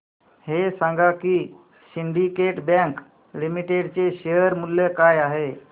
हे सांगा की सिंडीकेट बँक लिमिटेड चे शेअर मूल्य काय आहे